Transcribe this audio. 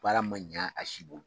Baara ma ɲɛ a si